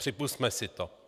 Připusťme si to.